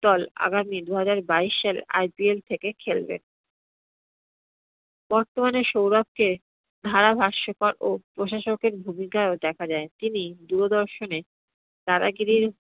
দল আগামী দুহাজার বাইশ সালে IPL থেকে খেলবে। বর্তমানে সৌরভকে ধারা ভাষ্যকর ও প্রশাসকের ভূমিকাইও দেখা যায়। তিনি দূরদর্শনে দাদাগিরির